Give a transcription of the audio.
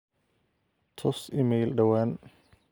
tus iimayl dhawaan